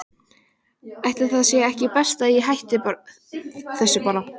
Ætli það sé ekki best að ég hætti þessu bara.